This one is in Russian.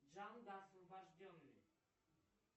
джанго освобожденный